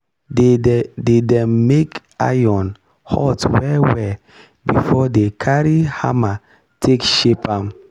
dey dem make iron hot well well before dey carry hammer take shape am.